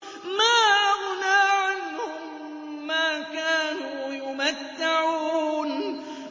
مَا أَغْنَىٰ عَنْهُم مَّا كَانُوا يُمَتَّعُونَ